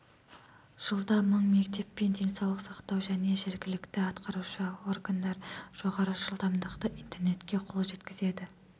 жылда мың мектеп пен денсаулық сақтау және жергілікті атқарушы органдар жоғары жылдамдықты интернетке қол жеткізеді